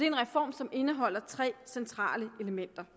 en reform som indeholder tre centrale elementer